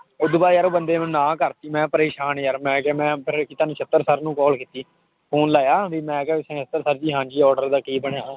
ਉਹ ਤੋਂ ਬਾਅਦ ਯਾਰ ਉਹ ਬੰਦੇ ਨੇ ਮੈਨੂੰ ਨਾਂਹ ਕਰ ਦਿੱਤੀ ਮੈਂ ਪਰੇਸਾਨ ਯਾਰ ਮੈਂ ਕਿਹਾ ਮੈਂ ਫਿਰ ਨਛੱਤਰ sir ਨੂੰ call ਕੀਤੀ phone ਲਾਇਆ ਵੀ ਮੈਂ ਕਿਹਾ sir ਜੀ ਹਾਂਜੀ order ਦਾ ਕੀ ਬਣਿਆ,